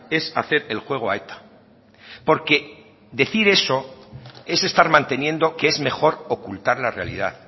es hacer el juego a eta porque decir eso es estar manteniendo que es mejor ocultar la realidad